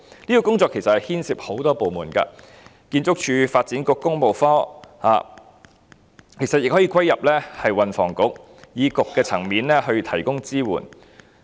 這個工作牽涉多個部門，例如建築署和發展局，其實亦可歸入運輸及房屋局，在政策局的層面提供支援。